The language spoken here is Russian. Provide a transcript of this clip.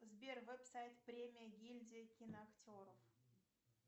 сбер веб сайт премия гильдия киноактеров